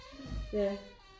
Ja